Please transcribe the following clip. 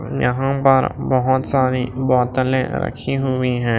यहां पर बहुत सारी बोतलें रखी हुई हैं।